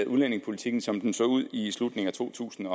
udlændingepolitikken som den så ud i slutningen af to tusind